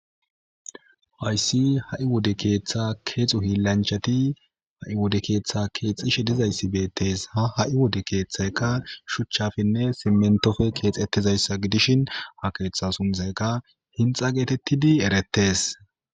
Hayssi ha7i wode keeththa keexu hiillanchati ha7i wode keeththa keexishe dizayssi beettes ha ha7i wode keeththayka shuchchafinne simentofe keexettizayssa gidishin ha keeththa suntayka hinxa geetettidi erettes.